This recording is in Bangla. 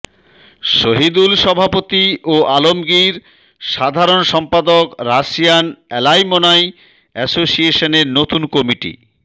শহিদুল সভাপতি ও আলমগীর সাধারণ সম্পাদক রাশিয়ান অ্যালামনাই অ্যাসোসিয়েশনের নতুন কমিটি